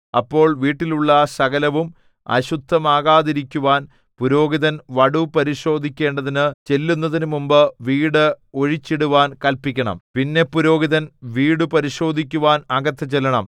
അപ്പോൾ വീട്ടിലുള്ള സകലവും അശുദ്ധമാകാതിരിക്കുവാൻ പുരോഹിതൻ വടു പരിശോധിക്കേണ്ടതിനു ചെല്ലുന്നതിനു മുമ്പ് വീട് ഒഴിച്ചിടുവാൻ കല്പിക്കണം പിന്നെ പുരോഹിതൻ വീടു പരിശോധിക്കുവാൻ അകത്ത് ചെല്ലണം